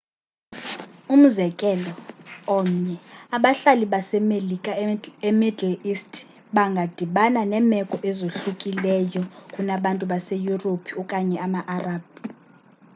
umzekelo omnye abahlali base-melika e-middle east bangadibana neemeko ezohlukileyo kunabantu base-yurophu okanye ama-arab